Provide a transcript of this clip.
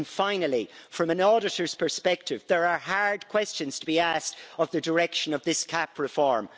And finally, from an auditor's perspective, there are hard questions to be asked of the direction of this CAP reform.